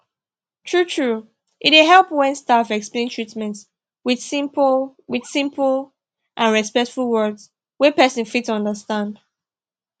truetrue e dey help when staff explain treatment with simple with simple and respectful words wey person fit understand